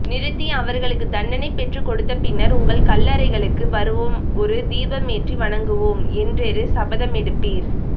நிறுத்தி அவர்களுக்கு தண்டனை பெற்றுக்கொடுத்த பின்னர் உங்கள் கல்லறைகளுக்கு வருவோம் ஒரு தீபமேற்றி வணங்குவோம் என்றெரு சபதமெடுப்பீர்